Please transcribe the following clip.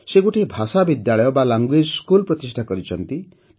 ସେ ଗୋଟିଏ ଭାଷା ବିଦ୍ୟାଳୟ ଲାଙ୍ଗୁଏଜସ୍କୁଲ ପ୍ରତିଷ୍ଠା କରିଛନ୍ତି